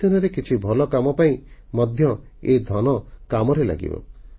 ଆଗାମୀ ଦିନରେ କିଛି ଭଲ କାମ ପାଇଁ ମଧ୍ୟ ଏ ଧନ କାମରେ ଲାଗିବ